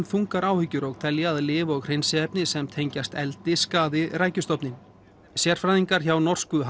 þungar áhyggjur og telja að lyf og hreinsiefni sem tengjast eldi skaði rækjustofninn sérfræðingar hjá norsku